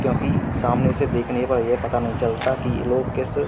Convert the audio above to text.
क्योंकि सामने से देखने पर ये पता नहीं चलता कि लोग किस --